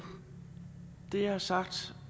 det jeg har sagt